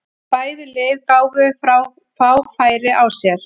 Bæði lið gáfu fá færi á sér.